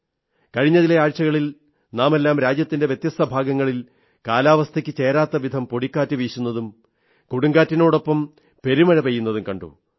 കഴിഞ്ഞ ചില ആഴ്ചകളിൽ നാമെല്ലാം രാജ്യത്തിന്റെ വ്യത്യസ്തഭാഗങ്ങളിൽ കാലാവസ്ഥയ്ക്കു ചേരാത്തവിധം പൊടിക്കാറ്റ് വീശുന്നതും കൊടുങ്കാറ്റിനൊപ്പം പെരുമഴ പെയ്യുന്നതും കണ്ടു